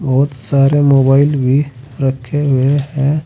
बहुत सारे मोबाइल भी रखे हुए है।